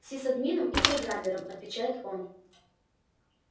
сисадмином и программером отвечает он